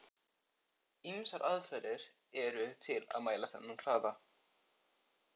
Ýmsar aðferðir eru til að mæla þennan hraða.